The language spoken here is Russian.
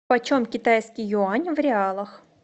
почем китайский юань в реалах